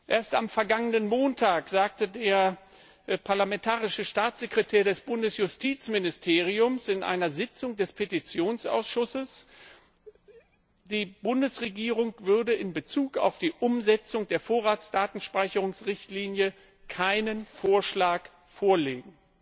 Erst am vergangenen Montag sagte der parlamentarische Staatssekretär des Bundesjustizministeriums in einer Sitzung des Petitionsausschusses, die Bundesregierung würde in Bezug auf die Umsetzung der Vorratsdatenspeicherungsrichtlinie keinen Vorschlag vorlegen.